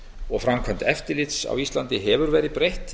og framkvæmd eftirlits á íslandi hefur verið breytt